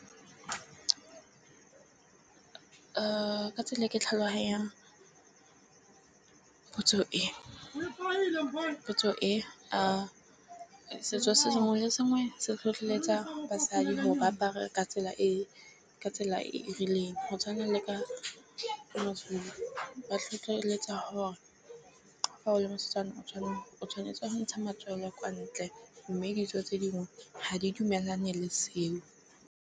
Ka tsela e ke tlhaloganyang potso ke gore potso e . Setso se sengwe le sengwe se tlhotlheletsa basadi hore ba bangwe ka tsela e ka tsela e e rileng go tshwana le ka . Ba tlhotlheletsa hore fa o le mosetsana o tshwanela, o tshwanetse go ntsha matswela ya kwa ntle mme ditso tse dingwe ha di dumelane le seo.